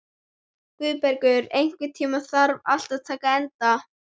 Guðbergur, einhvern tímann þarf allt að taka enda.